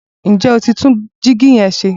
Ǹ jẹ́ o ti tún dígí yẹn se?